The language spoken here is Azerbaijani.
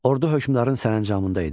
Ordu hökmdarın sərəncamında idi.